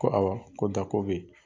Ko awɔ ko bɛ ye.